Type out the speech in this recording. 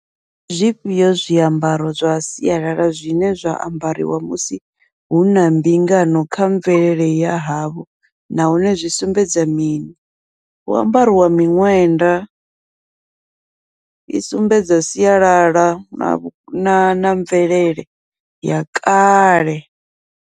Ndi zwifhio zwiambaro zwa sialala zwine zwa ambariwa musi huna mbingano kha mvelele ya havho, nahone zwi sumbedza mini, hu ambariwa miṅwenda i sumbedza sialala na mvelele ya kale.